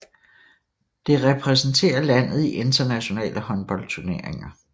Det repræsenterer landet i internationale håndboldturneringer